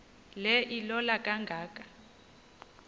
le ilola kangaka